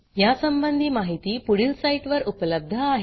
यासंबंधी माहिती पुढील साईटवर उपलब्ध आहे